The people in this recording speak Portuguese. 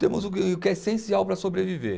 Temos o que, o que é essencial para sobreviver.